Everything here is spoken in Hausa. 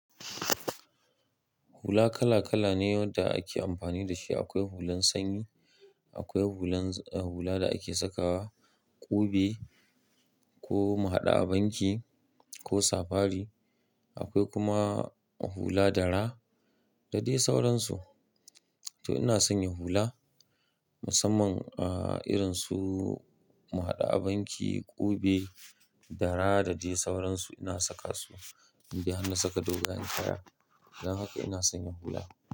Hula kala kala ne wadda ake amfani da shi. Akwai hulan sanyi, akwai hulan, ah hula da ake sakawa ƙube ko mu haɗa a banki ko safari. Akwai kuma hula dara da dai sauransu. To ina sanya hula musamman a irin su mu haɗa a banki, ƙube, dara da dai sauransu. Ina saka su indai har na saka dogayan kaya. Dan haka ina sanya hula.